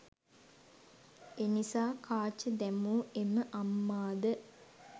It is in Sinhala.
එනිසා කාච දැමූ එම අම්මාද